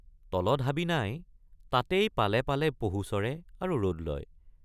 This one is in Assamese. তলত হাবি নাই তাতেই পালে পালে পহু চৰে আৰু ৰদ লয়।